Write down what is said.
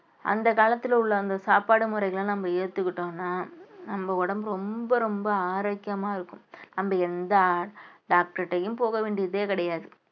அந்த காலத்துல உள்ள அந்த சாப்பாடு முறைகளை நம்ம ஏத்துக்கிட்டோம்ன்னா நம்ம உடம்பு ரொம்ப ரொம்ப ஆரோக்கியமா இருக்கும் நம்ம எந்த doctor ட்டயும் போக வேண்டியதே கிடையாது